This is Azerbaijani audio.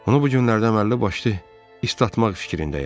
Onu bu günlərdə əməlli başlı islatmaq fikrindəyəm.